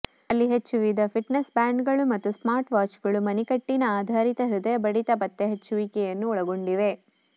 ಅಲ್ಲಿ ಹೆಚ್ಚು ವಿವಿಧ ಫಿಟ್ನೆಸ್ ಬ್ಯಾಂಡ್ಗಳು ಮತ್ತು ಸ್ಮಾರ್ಟ್ವಾಚ್ಗಳು ಮಣಿಕಟ್ಟಿನ ಆಧಾರಿತ ಹೃದಯ ಬಡಿತ ಪತ್ತೆಹಚ್ಚುವಿಕೆಯನ್ನು ಒಳಗೊಂಡಿವೆ